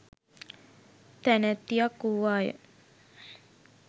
තැනැත්තියක් වූවාය.